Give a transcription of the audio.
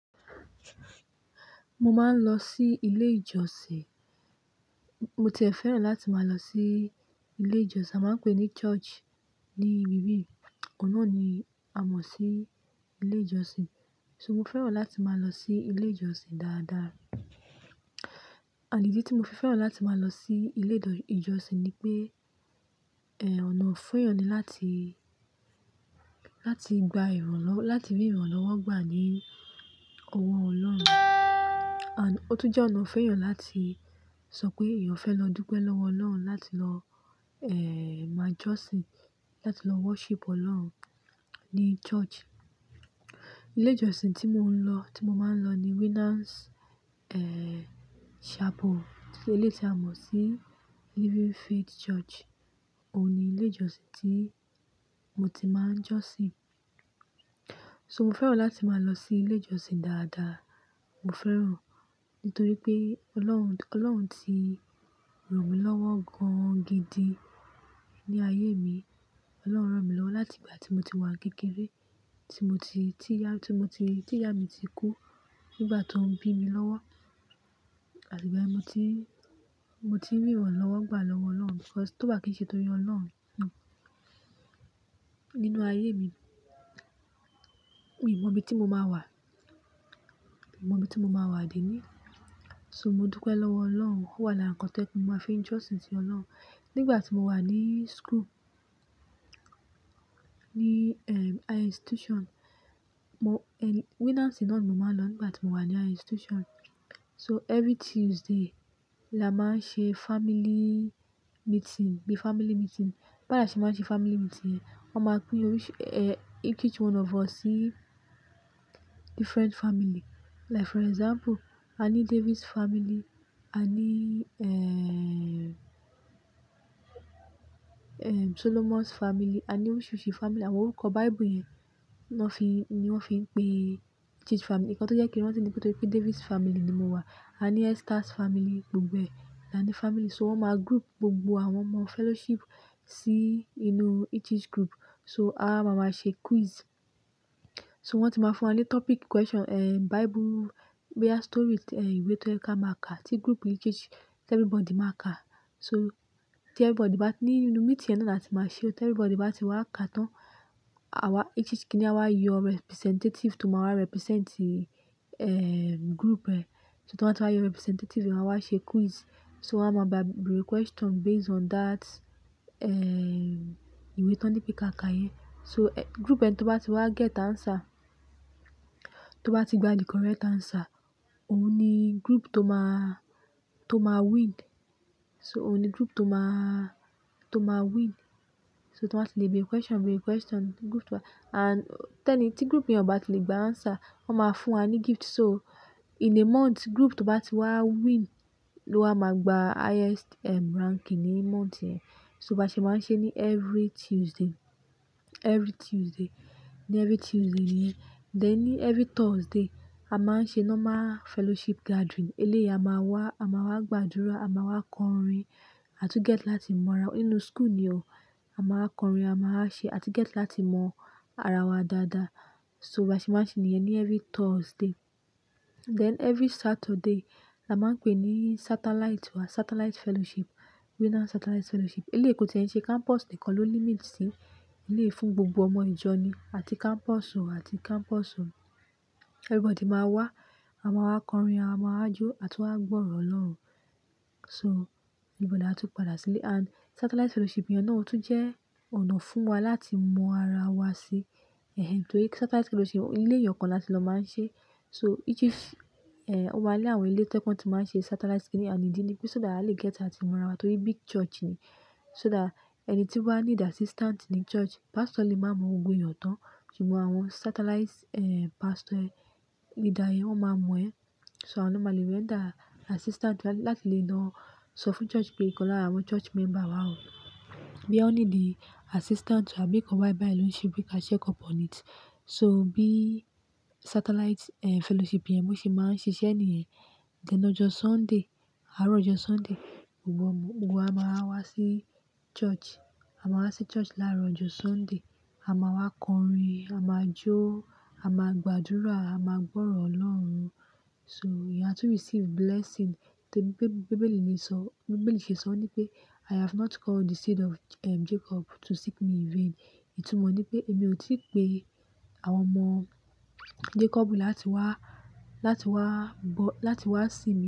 Mo máa ń lọ sí ilé ìjọsìn. Mo ti e fẹ́ràn láti máa lọ sí ilé ìjọsìn, a máa ń pè ní church ní ibí yìí. Òun náà ni a mọ̀ sí ilé ìjọsìn. So mo fẹ́ràn láti máa lọ sí ilé ìjọsìn dáadáa. And ìdí tí mo fi fẹ́ràn láti máa lọ sí ilé ìjò-- ìjọsìn ni pé, èéh, ọ̀nà fún èèyàn ni láti, láti gba ìrànlọ́wọ́, láti rí ìrànlọ́wọ́ gbà ní ọwọ́ Ọlọ́run. And, ó tún jẹ́ ọ̀nà fún èèyàn láti sọ pé èèyàn fẹ́ lọ dúpẹ́ lọ́wọ́ Ọlọ́run, láti lọ, èèh, máa jọ́sìn, láti lọ worship Ọlọ́run ní church. Ilé ìjọsìn tí mò ń lọ, tí mo máa ń lọ ni Winners, èèh, Chapel. So eléyii ti a mọ̀ sí Living Faith Church. Óun ní ilé ìjọsìn tí mo ti máa ń jọ́sìn. So mo fẹ́ràn láti máa lọ sí ilé ìjọsìn dáadáa. Mo fẹ́ràn nítorí pé Ọlọ́run, Ọlọ́run ti ràn mí lọ́wọ́ gan gidi ní ayé mi. Ọlọ́run ràn mí lọ́wọ́ láti ìgbà tí mo ti wà kékeré, tí mo ti, tí ìyá, tí mo ti, tí ìyá mi ti kú nígbà ti won bí mi lọ́wọ́. Àti ìgbàyen ni mo ti n mo ti n rí ìrànlọ́wọ́ gbà lọ́wọ́ Ọlọ́run. Because, ti o bá n kin se torí Ọlọ́run, hm, nínú ayé mi, n mọ ibi tí mo máa wà, n mọ ibi tí mo máa wà déníi. So mo dúpẹ́ lọ́wọ́ Ọlọ́run. Ó wà lára nǹkan to je pe mo máa fi ń jọ́sìn sí Ọlọ́run. Nígbà tí mo wà ní school, ní, ẹ́ẹ̀-ì, high institution, mo, ẹ́ẹ̀-ì, Winners ni mo máa ń lọ nígbà tí mo wà ní high institution. So every Tuesday la máa ń ṣe family meeting, bí family meeting. Bi àwa ṣe máa ń ṣe family meeting, wọ́n máa pín oríṣì-- èéh, each each one of us sí different family. Like for example, àní Davis family, àní, ẹ́ẹ̀-ẹ̀, ẹ́ẹ̀, Solomons family, àní oríṣìíríṣìí family. Àwọn orúkọ Bible yẹn ni won fi, ni wọ́n fi ń pè each each family. Ǹkan tó jẹ́ kí n rántí ní pé torí Davis family ni mo wà. A ní Esthers family, gbogbo ẹ, làní family. So wọ́n máa group gbogbo àwọn ọmọ fellowship sí inú each each group. So a waa máa máa ṣe quiz. So wọ́n ti máa fún wa ní topic question, ẹ́ẹ̀h, Bible, bóyá story, ẹ́ẹ̀h, ìwé tó yẹ ki a máa ka. Tí group each each, everybody máa ka. So tí everybody bá ti ní inú meeting ẹ náà láti máa ṣe ó, tí everybody bá ti wá ka tán, àwa each each kíni a wa yọ representative tó máa wá represent, ẹ́ẹ̀h, group ẹ. So tó bá ti wá yọ representative, wọ́n á wá ṣe quiz. So wọ́n á máa beere question based on that, ẹ́ẹ̀h, ìwé ti won ni pé káa ka yẹn. So, ẹ́ẹ̀h, group ẹni tó bá ti wá get answer, tó bá ti gba the correct answer, òun ni group tó máa, tó máa win. So òun ni group tó máa, tó máa win. So ti won bá ti lè beere question, beere question, group tó bá-- and tẹ́ni tí group yẹn o bá ti lè gba answer, wọ́n máa fún wa ní gift. So in a month, group tó bá ti wá win ló máa gba highest, ẹ́ẹ̀h, ranking ní month yẹn. So ba ṣe máa ń ṣe ní every Tuesday, every Tuesday, ní every Tuesday yẹn. Then ní every Thursday, a máa ń ṣe normal fellowship gathering. Eléyìí a máa wá, a máa wá gbàdúrà, a máa wá kọrin, àtúń get láti mọ ara-- inú school ni o. A máa kọrin, a máa ṣe àa tún get láti mọ ara wa dáadáa. So ba ṣe máa ń ṣe níyen ní every Thursday. Then every Saturday la máa ń pè ní Satellite wá, Satellite Fellowship, Winners Satellite Fellowship. Eléyìí, kò tí ẹ̀ ń ṣe campus nìkan ló limit sí. Eléyìí fún gbogbo ọmọ ìjọ ni. Àti campus o, àti campus o, everybody máa wá, a máa wá kọrin, a máa jó, à túń wa gbọ́ orọ̀ Ọlọ́run. So níbẹ̀ láawa tún padà sílé. And Satellite Fellowship yẹn náà ó tún jẹ́ ọ̀nà fún wa láti mọ ara wa sí. Ehe, nítorí Satellite Fellowship, ilé èèyàn kan láti lọ máa ń ṣe. So each each, ẹ́ẹ̀h, o máa ni àwọn ilé tí wọ́n to je pe won ti máa ń ṣe Satellite kínì, and ìdí ni pé so that a le get láti mọ ara wa. Torí big church ni. So that ẹni tí o ba need assistant ní church, pastor lè máa mọ gbógbo èèyàn tán. Ṣùgbọ́n àwọn Satellite, ẹ́ẹ̀h, pastor ẹ, leader ẹ, wọ́n máa mọ ẹ. So awọ́n máa lè render assistant lá-láti lè lọ sọ fún church pe ikan lára àwọn church member wá o. Bóyá o need assistant wá, àbí nkan báyìí báyìí ló ń ṣe wi pe ka check up on it. So bí Satellite, ẹ́ẹ̀h, Fellowship yẹn bo ṣe máa ń ṣiṣẹ́ nìyẹn. Then lọ́jọ́ Sunday, àárọ̀ ọjọ́ Sunday, gbogbo ọmọ, gbogbo wa máa wá sí church. A máa wá sí church láàárọ̀ ọjọ́ Sunday. A máa wá kọrin, a máa jó, a máa gbàdúrà, a máa gbọ́rọ̀ Ọlọ́run. So èèyàn á tún receive blessing. Bíbéélì ní sọ, bíbélì ṣe sọ ní pé "I have not called the seed of, Jacob to seek me in vain." Ètù mó ní pé èmi ò tí pé àwọn ọmọ Jacob ni láti wá, láti wá bọ-- láti wá seek.